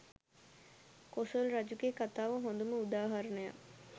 කොසොල් රජුගේ කතාව හොඳම උදාහරණයක්